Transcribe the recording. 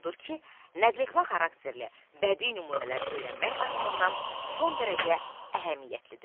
Odur ki, nəqletmə xarakterli bədii nümunələr öyrənmək baxımından son dərəcə əhəmiyyətlidir.